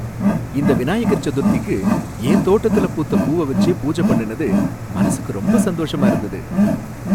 இந்த விநாயகர் சதுர்த்திக்கு என் தோட்டத்துல பூத்த பூவ வச்சே பூஜை பண்ணுனது மனசுக்கு ரொம்ப சந்தோஷமா இருந்தது.